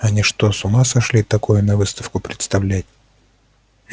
они что с ума сошли такое на выставку представлять